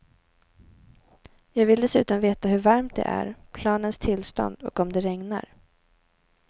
Jag vill dessutom veta hur varmt det är, planens tillstånd och om det regnar.